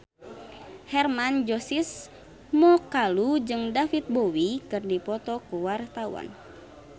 Hermann Josis Mokalu jeung David Bowie keur dipoto ku wartawan